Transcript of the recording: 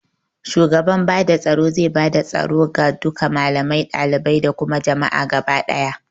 Shugaba bada tsoro zai bada tsoro ga duka malamai, dalibai da kuma jami'a gaba ɗaya